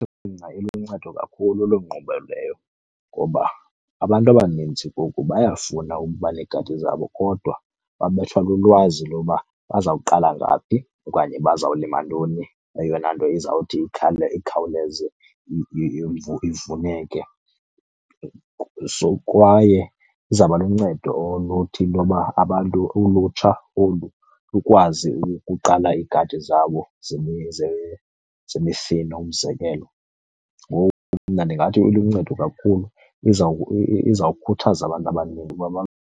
iluncedo kakhulu loo nkqubo ngoba abantu abanintsi bayafuna ukuba negadi zabo kodwa babethwa lulwazi loba bazawuqala ngaphi okanye bazawulima ntoni eyona nto izawuthi ikhawuleze ivuneke. Sok waye izawuba luncedo oluthi intoba abantu, ulutsha olu lukwazi ukuqala iigadi zabo zemifino, umzekelo. Ngoku mna ndingathi iluncedo kakhulu, izawukhuthaza abantu abaninzi uba .